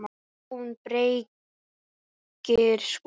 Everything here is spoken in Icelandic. JÓN BEYKIR: Skúli!